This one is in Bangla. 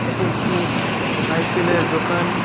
এটি একটি সাইকেলের দোকান।